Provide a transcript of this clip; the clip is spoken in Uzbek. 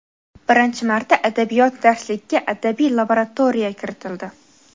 birinchi marta adabiyot darsligiga "Adabiy laboratoriya" kiritildi.